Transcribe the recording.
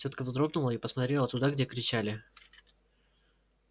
тётка вздрогнула и посмотрела туда где кричали